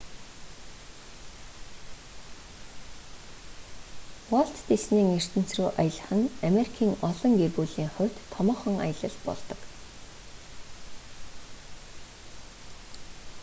уолт диснейн ертөнц рүү аялах нь америкийн олон гэр бүлийн хувьд томоохон аялал болдог